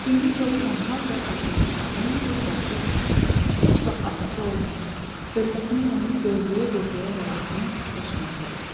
İndi isə o tənha və atılmış qadın öz balaca otağında heç vaxt atası olmayacaq, körpəsinin yolunu gözləyə-gözləyə həyatını yaşamaqda idi.